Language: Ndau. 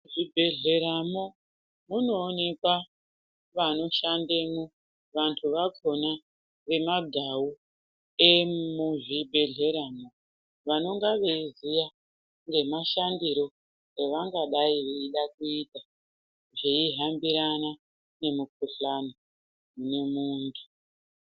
Muzvibhedhleramwo munoonekwa vanoshandemwo vantu vakona vemagau emuzvibhedhleramwo vanonga veiziya nemashandiro evangadai veida kuita zveihambirana nemikuhlani une muntu.